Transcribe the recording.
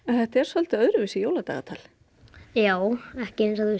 þetta er svolítið öðruvísi jóladagatal já ekki eins og